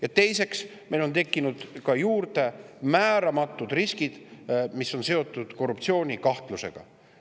Ja teiseks, meil on juurde tekkinud ka määramatud riskid, mis on seotud korruptsioonikahtlusega.